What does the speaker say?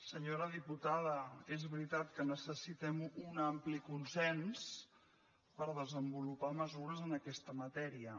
senyora diputada és veritat que necessitem un ampli consens per desenvo·lupar mesures en aquesta matèria